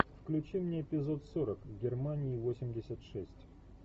включи мне эпизод сорок германии восемьдесят шесть